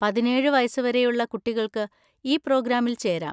പതിനേഴ് വയസ്സുവരെയുള്ള കുട്ടികൾക്ക് ഈ പ്രോഗ്രാമിൽ ചേരാം.